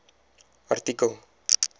artikel